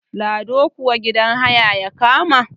lado kuwa gidan haya ya kama